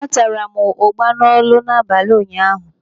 Atara m ụgba n'Ọlụ n'abalị ụnyaahụ.